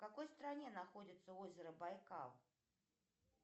в какой стране находится озеро байкал